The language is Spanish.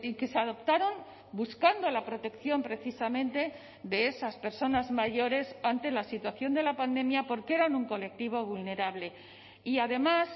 que se adoptaron buscando la protección precisamente de esas personas mayores ante la situación de la pandemia porque eran un colectivo vulnerable y además